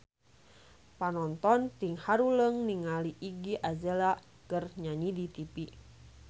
Panonton ting haruleng ningali Iggy Azalea keur nyanyi di tipi